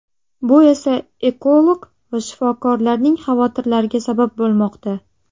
Bu esa ekolog va shifokorlarning xavotirlariga sabab bo‘lmoqda.